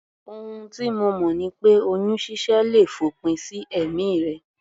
Ohun tí mo mọ̀ ni pé oyún ṣíṣẹ́ le fòpin sí ẹ̀mí rẹ